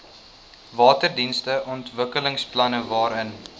waterdienste ontwikkelingsplanne waarin